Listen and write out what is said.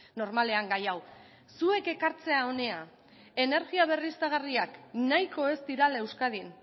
normalean gai hau zuek ekartzea hona energia berriztagarriak nahiko ez direla euskadin